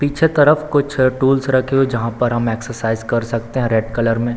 पीछे तरफ कुछ टूल्स रखे हुए हैं जहाँ पर हम एक्सरसाइज कर सकते हैं रेड कलर में --